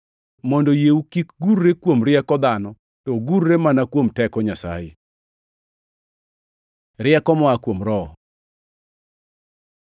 mondo yieu kik gurre kuom rieko dhano, to ogurre mana kuom teko Nyasaye. Rieko moa kuom Roho